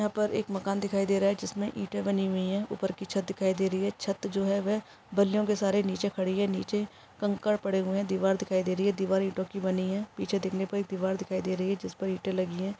यहाँ पर एक मकान दिखाई दे रहा है जिसमें ईंटें बनी हुई है ऊपर की छत दिखाई दे रही है छत जो है वह बल्लियों के सहारे नीचे खड़े हैं नीचे कंकड़ पड़े हुए हैं दिवार दिखाई दे रही है दिवार ईंटो की बनी है पीछे देखने पर एक दिवार दिखाई दे रही है जिसपर ईंटें लगी है।